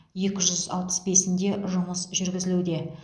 екі жүз алпыс бесінде жұмыс жүргізілуде